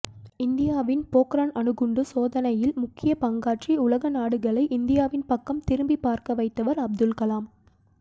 இந்தியாவின் பொக்ரான் அணுகுண்டு சோதனையில் முக்கியப் பங்காற்றி உலக நாடுகளை இந்தியாவின் பக்கம் திரும்பிப் பார்க்க வைத்தவர் அப்துல் கலாம்